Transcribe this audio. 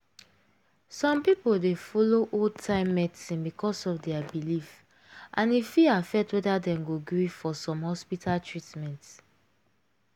some people dey follow old-time medicine because of their belief and e fit affect whether dem go gree for some hospital treatment.